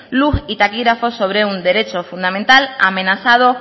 luz y taquígrafos sobre un derecho fundamental amenazado